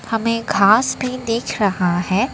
हमें घास भी देख रहा है।